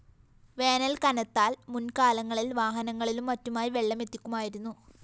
വേനല്‍ കനത്താല്‍ മുന്‍കാലങ്ങളില്‍ വാഹനങ്ങളിലും മറ്റുമായി വെള്ളമെത്തിക്കുമായിരുന്നു